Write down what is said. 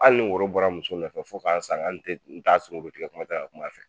Hali ni woro bɔra muso nɔfɛ fo ka n sa n t'a sunkuruntigɛ kuma tɛ ka kum'a fɛ!